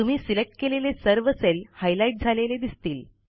तुम्ही सिलेक्ट केलेले सर्व सेल हायलाईट झालेले दिसतील